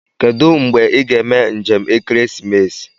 Kedụ mgbe ị ga-eme njem ekeresimesi